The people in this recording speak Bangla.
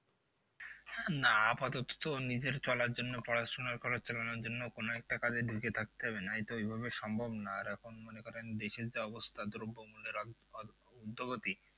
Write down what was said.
আহ না আপাতত তো নিজের চলার জন্য পড়াশোনা খরচ চালানোর জন্য কোনো একটা কাজে ঢুকে থাকতে হবে নয় তো ওইভাবে সম্ভব নয় আর এখন মনে করেন দেশের যা অবস্থা দ্রব্য মূল্যের উর্ধগতি